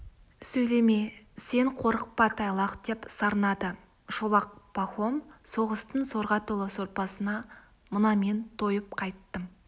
сөйлеме сен қорықпа тайлақ деп сарнады шолақ пахом соғыстың сорға толы сорпасына мына мен тойып қайттым